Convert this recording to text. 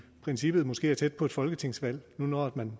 princippet måske er tæt på et folketingsvalg når man